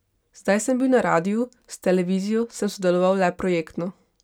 Zdaj sem bil na radiu, s televizijo sem sodeloval le projektno.